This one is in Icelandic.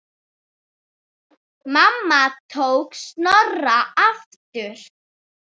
Mamma tók Snorra aftur.